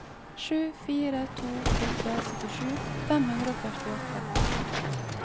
sju fire to åtte syttisju fem hundre og førtiåtte